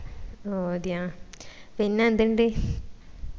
ഓ അതിയ പിന്നെന്തിണ്ട്